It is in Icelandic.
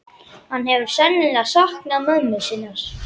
Hann hefur sennilega saknað mömmu sinnar.